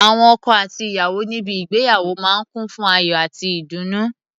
Awọn ọkọ àti aya níbi ígbéyàwó máa ń kùn fún ayò àti ìdùnnú.